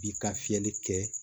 Bi ka fiyɛli kɛ